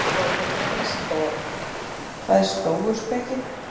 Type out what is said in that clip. Frekari fróðleikur á Vísindavefnum: Hvað er stóuspeki?